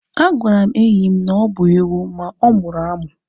A gwara m enyi m na ọ bụ ewu ma ọ mụrụ amụ